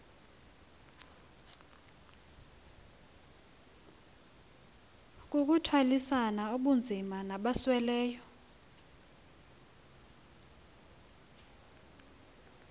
kukuthwalisana ubunzima nabasweleyo